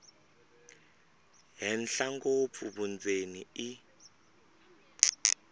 henhla ngopfu vundzeni i